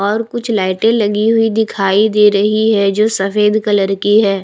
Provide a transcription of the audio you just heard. और कुछ लाइटें लगी हुई दिखाई दे रही हैं जो सफेद कलर की हैं।